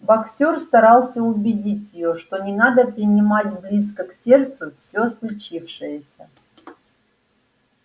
боксёр старался убедить её что не надо принимать близко к сердцу все случившееся